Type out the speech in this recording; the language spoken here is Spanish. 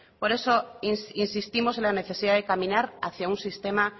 por eso insistimos en la necesidad de caminar hacia un sistema